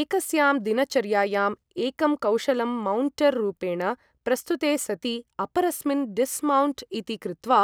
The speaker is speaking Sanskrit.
एकस्यां दिनचर्यायाम् एकं कौशलं मौण्टर् रूपेण प्रस्तुते सति अपरस्मिन् डिस्मौण्ट् इति कृत्वा